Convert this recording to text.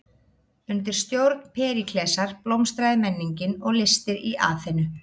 Undir stjórn Períklesar blómstraði menningin og listir í Aþenu.